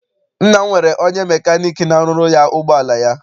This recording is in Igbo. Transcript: Nna m nwere onye mecanic n'arụrụ ya ụgbọala ya.